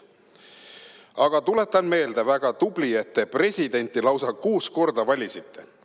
"Aga tuletan meelde: väga tubli, et te presidenti lausa kuus korda valisite.